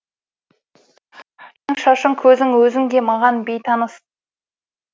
сенің шашың көзің өзің де маған бейтаныс